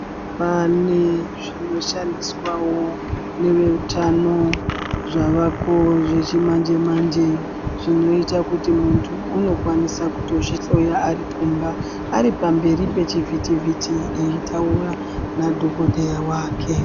Pane zvinoshandiswawo neveutano zvavako zvechimanje manjezvinoita kuti muñthu unokwanisa kutozvihloya arikumba aripamberi pechivhiti vhiti eitaura nadhokodheya wake .